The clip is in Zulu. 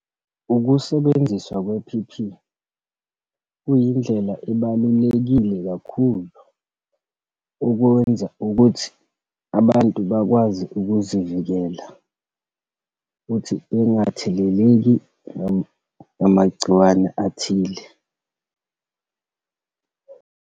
Ukusebenziswa kwe-P_P, kuyindlela ebalulekile kakhulu, ukuwenza ukuthi abantu bakwazi ukuzivikela, futhi bengatheleleki ngamagciwane athile.